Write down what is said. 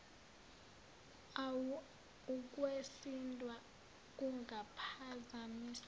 uwa ukwesindwa kungaphazamisa